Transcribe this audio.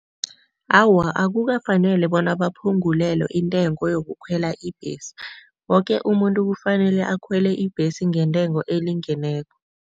Awa, akukafaneli bona baphungulelwe intengo yokukhwela ibhesi. Woke umuntu kufanele akhwele ibhesi ngentengo elingeneko.